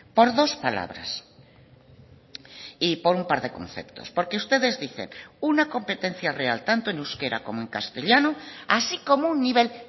por dos palabras y por un par de conceptos porque ustedes dicen una competencia real tanto en euskera como en castellano así como un nivel